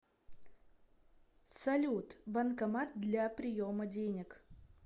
салют банкомат для приема денег